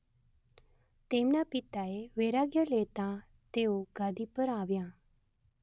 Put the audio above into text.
તેમના પિતાએ વૈરાગ્ય લેતાં તેઓ ગાદી પર આવ્યાં